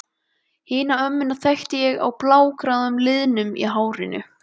Hina ömmuna þekkti ég á blágráu liðunum í hárinu.